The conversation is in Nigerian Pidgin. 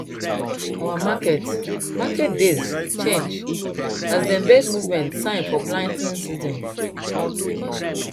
our market market days change as dey bird movement sign for planting season